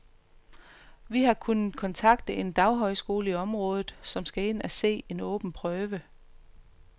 Vi har kunnet kontakte en daghøjskole i området, som skal ind at se en åben prøve.